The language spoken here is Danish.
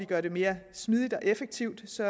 gøre det mere smidigt og effektivt så